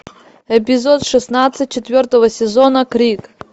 эпизод шестнадцать четвертого сезона крик